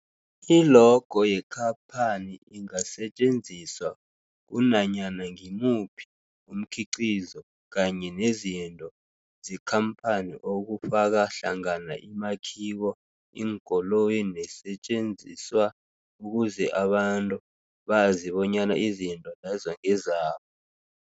I-logo yekhaphani ingasetjenziswa kunanyana ngimuphi umkhiqizo kanye nezinto zekhamphani okufaka hlangana imakhiwo, iinkoloyi neesentjenziswa ukuze abantu bazi bonyana izinto lezo ngezabo.